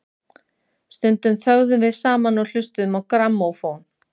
Stundum þögðum við saman og hlustuðum á grammófón.